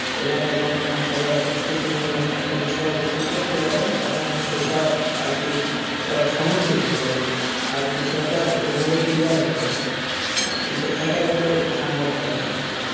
এলাকার জনগণ সবাই একত্রিত হয়ে যখন একটা বিষয়ে কিছু করতে যাবেন তখন সেটা আরকি আহ সমর্থিত হবে আর বিষয়টা ঐভাবে ক্লিয়ার হয়ে যাবে হ্যাঁ কিন্তু একা একা তো ওইটা সম্ভব হয় না আর কি।